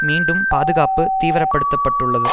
மீண்டும் பாதுகாப்பு தீவிரப்படுத்தப்பட்டுள்ளது